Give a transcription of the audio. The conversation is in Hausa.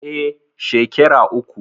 Eh, shekera uku